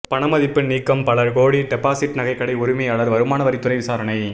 பணமதிப்பு நீக்கம் பல கோடி டெபாசிட் நகைக்கடை உரிமையாளர் வருமான வரித்துறை விசாரணை